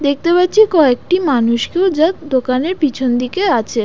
দেখতে পাচ্ছি কয়েকটি মানুষকেও যা দোকানের পেছন দিকে আছে।